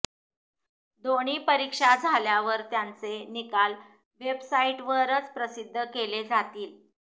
दोन्ही परीक्षा झाल्यावर त्यांचे निकाल वेबसाईटवरच प्रसिद्ध केले जातील